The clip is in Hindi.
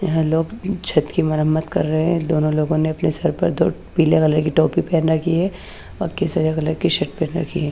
यह लोग छत की मरमत कर रहे हैं दोनों लोगोंने अपने सरपे दो पीले वाली की टोपी पहन रखी है ।